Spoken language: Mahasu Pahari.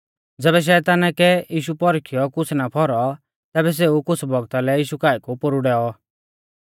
ज़ैबै शैताना कै यीशु पौरखियौ कुछ़ ना फौरौ तैबै सेऊ कुछ़ बौगता लै यीशु काऐ कु पोरु डैऔ